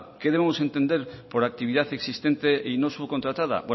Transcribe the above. qué debemos entender por actividad existente y no subcontratada